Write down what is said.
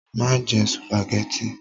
Má jẹ sùpàgẹ́tì!